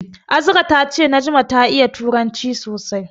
Azra ta ce Najma ta iya turanci sosai.